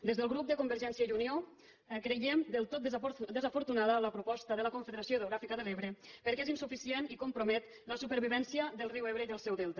des del grup de convergència i unió creiem del tot desafortunada la proposta de la confederació hidrogràfica de l’ebre perquè és insuficient i compromet la supervivència del riu ebre i del seu delta